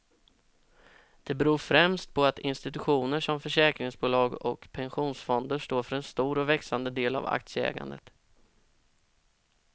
Det beror främst på att institutioner som försäkringsbolag och pensionsfonder står för en stor och växande del av aktieägandet.